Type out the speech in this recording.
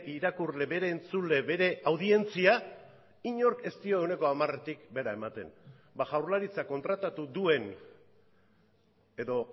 irakurle bere entzule bere audientzia inork ez dio ehuneko hamaretik behera ematen jaurlaritzak kontratatu duen edo